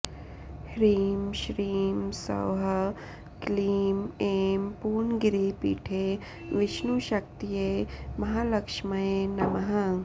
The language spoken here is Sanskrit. ह्रीं श्रीं सौः क्लीं ऐं पूर्णगिरिपीठे विष्णुशक्त्यै महालक्ष्म्यै नमः